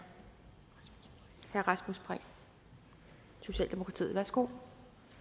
herre rasmus prehn socialdemokratiet værsgo